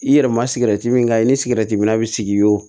I yɛrɛ ma sikɛriti min kan i ni sikɛriti mi na sigi i y'o